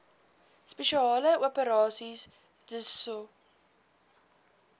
spesiale operasies dso